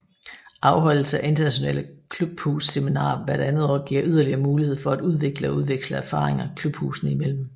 Afholdelse af internationale klubhusseminarer hver andet år giver yderligere mulighed for at udvikle og udveksle erfaringer klubhusene imellem